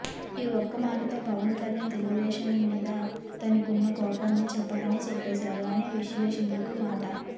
ఈ ఒక్క మాటతో పవన్ కళ్యాణ్ తెలుగుదేశం మీద తనకున్న కోపాన్ని చెప్పకనే చెప్పేసాడు అని విశ్లేషకుల మాట